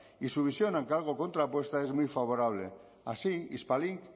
y su visión aunque algo contrapuesta es muy favorable así hispalink